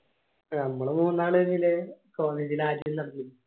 നമ്മൾ മൂന്നാളിൽ